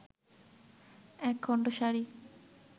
একখণ্ড সাড়ি